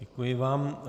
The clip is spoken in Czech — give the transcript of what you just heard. Děkuji vám.